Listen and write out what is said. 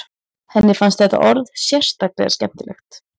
Henni fannst þetta orð sérstaklega skemmtilegt.